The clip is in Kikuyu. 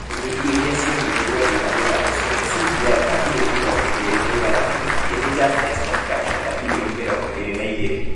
Kambuni ingĩ iria cionirie wendi wa wĩra ũcio nĩ SBI na birioni mĩrongo ĩre na ithathatũ . ĩngi nĩ Just Nice Construction na birioni mĩrongo ĩre na ĩgere.